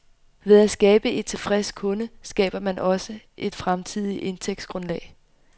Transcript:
Ved at skabe en tilfreds kunde, skaber man også et fremtidigt indtægtsgrundlag.